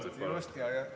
Just, jajah!